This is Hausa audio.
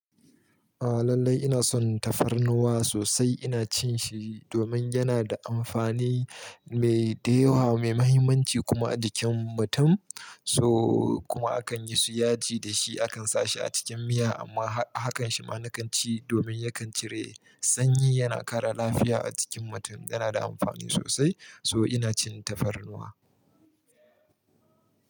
A lalai ina son tafarnuwa sosai. Ina cin shi domin yana da amfani mai da yawa, mai mahimmanci kuma a jikin mutum. So kuma akan yi su yaji da shi, akan sa shi a cikin miya amma hakan shi ma na kan ci domin yakan cire sanyi, yana kare lafiya a cikin mutum. Yana da amfani sosai so ina cin tafarnuwa.